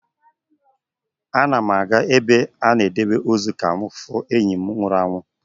M na-aga ebe a na-edebe ozu ka m hụ enyi m nwụrụ anwụ